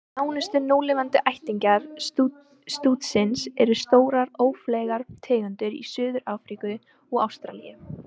Nánustu núlifandi ættingjar stútsins eru stórar, ófleygar tegundir í Suður-Ameríku og Ástralíu.